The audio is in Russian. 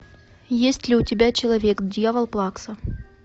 есть ли у тебя человек дьявол плакса